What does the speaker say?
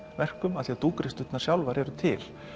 verkum af því að sjálfar eru til